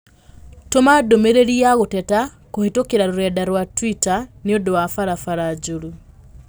Tũma ndũmĩrĩri ya gũteta kũhĩtũkĩra rũrenda rũa tũita nĩ ũndũ wa barabara njũru